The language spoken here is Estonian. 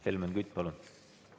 Helmen Kütt, palun!